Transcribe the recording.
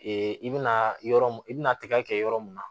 i bɛna yɔrɔ mun i bɛna tigɛ kɛ yɔrɔ mun na